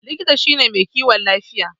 Likita shine mai kiwon lafiya.